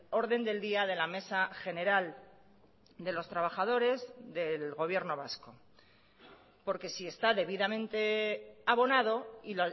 orden del día de la mesa general de los trabajadores del gobierno vasco porque si está debidamente abonado y